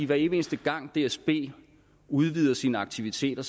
hver evig eneste gang dsb udvider sine aktiviteter